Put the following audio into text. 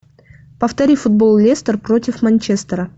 повтори футбол лестер против манчестера